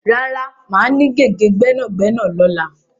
Rárá, máa ní gègé gbẹ́nàgbẹ́nà lọ́la.